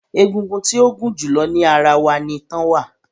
Egungun tí ó gún julọ ní ará wá ní itan wa